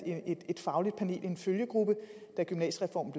et fagligt panel en følgegruppe da gymnasiereformen